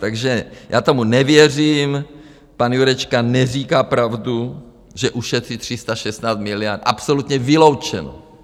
Takže já tomu nevěřím, pan Jurečka neříká pravdu, že ušetří 316 miliard, absolutně vyloučeno.